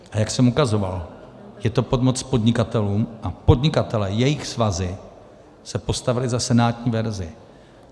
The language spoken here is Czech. A jak jsem ukazoval, je to pomoc podnikatelům a podnikatelé, jejich svazy se postavily za senátní verzi.